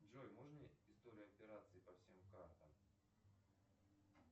джой можно историю операций по всем картам